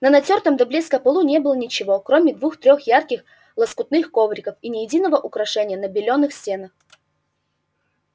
на натёртом до блеска полу не было ничего кроме двух-трёх ярких лоскутных ковриков и ни единого украшения на белёных стенах